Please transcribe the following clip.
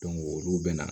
olu bɛ na